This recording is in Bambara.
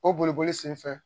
O boliboli senfɛ